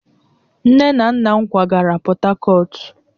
Nne na nna m kwagara Portharcourt